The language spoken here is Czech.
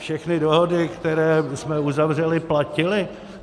Všechny dohody, které jsme uzavřeli, platily.